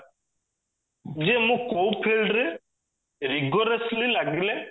ଯେ ମୁଁ କଉ field ରେ ରଖିଲେ ଲାଗିଲେ